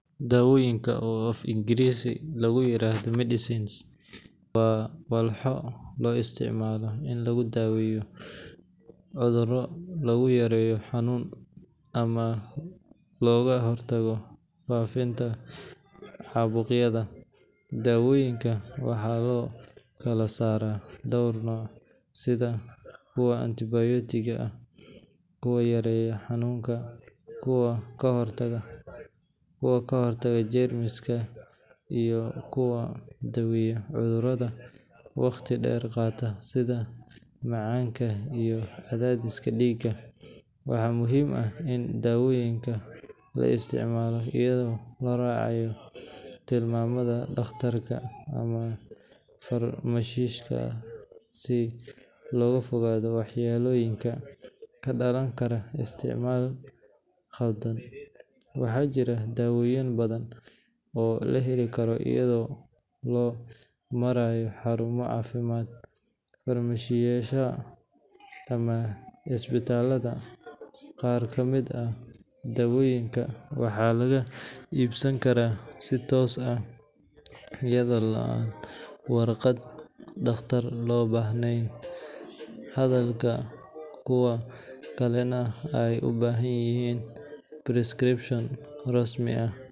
Dawooyinka, oo af-Ingiriisi lagu yiraahdo medicines, waa walxo loo isticmaalo in lagu daaweeyo cudurro, lagu yareeyo xanuun, ama looga hortago faafitaanka caabuqyada. Dawooyinka waxaa loo kala saaraa dhowr nooc sida kuwa antibiyootiga ah, kuwa yareeya xanuunka, kuwa ka hortaga jeermiska, iyo kuwa daweeya cudurrada waqti dheer qaata sida macaanka iyo cadaadiska dhiigga. Waxaa muhiim ah in dawooyinka la isticmaalo iyadoo la raacayo tilmaanta dhakhtarka ama farmashiistaha si looga fogaado waxyeellooyinka ka dhalan kara isticmaal khaldan. Waxaa jira dawooyin badan oo la heli karo iyada oo loo marayo xarumaha caafimaadka, farmashiyeyaasha, ama isbitaalada. Qaar ka mid ah dawooyinka waxaa laga iibsan karaa si toos ah iyada oo aan warqad dhakhtar loo baahnayn, halka kuwa kalena ay u baahan yihiin prescription rasmi ah.